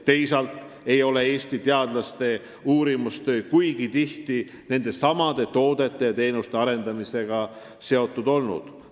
Teisalt ei ole Eesti teadlaste uurimistöö kuigi tihti nendesamade toodete ja teenuste arendamisega seotud olnud.